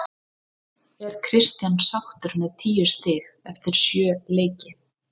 Er Kristján sáttur með tíu stig eftir sjö leiki?